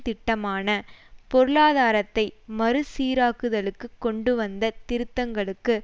திட்டமான பொருளாதாரத்தை மறு சீராக்குதலுக்கு கொண்டுவந்த திருத்தங்களுக்கு